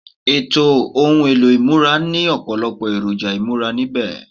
Ètò ohun èlò ìmúra ní ọ̀pọ̀lọpọ̀ èròjà ìmúra níbẹ̀